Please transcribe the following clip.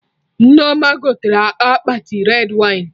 Nneoma gotere akpati red wine